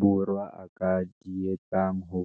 Borwa a ka di etsang ho